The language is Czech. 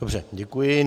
Dobře, děkuji.